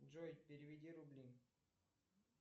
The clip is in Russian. джой переведи рубли